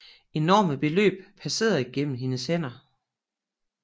Enorme beløb passerede gennem hendes hænder